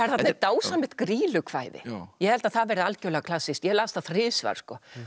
þarna er dásamlegt grýlukvæði ég held að það verði algjörlega klassískt ég las það þrisvar